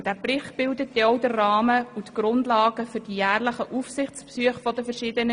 Dieser Bericht bildet denn auch den Rahmen und die Grundlage für die jährlichen Aufsichtsbesuche JuKoAusschüsse.